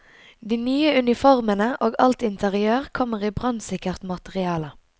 De nye uniformene og alt interiør kommer i brannsikkert materiale.